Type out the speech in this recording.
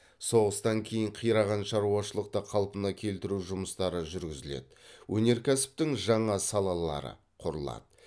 соғыстан кейін қираған шаруашылықты қалпына келтіру жұмыстары жүргізіледі өнеркәсіптің жаңа салалары құрылады